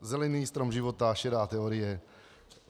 Zelený strom života, šedá teorie.